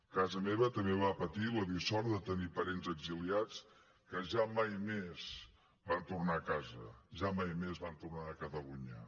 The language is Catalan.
casa meva també va patir la dissort de tenir parents exiliats que ja mai més van tornar a casa ja mai més van tornar a catalunya